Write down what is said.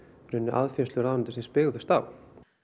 aðfinnslur ráðuneytisins byggðust á